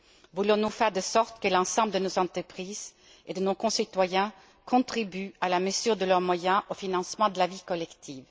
Voulons nous faire en sorte que l'ensemble de nos entreprises et de nos concitoyens contribuent à la mesure de leurs moyens au financement de la vie collective?